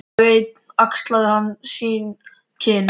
Dag einn axlaði hann sín skinn.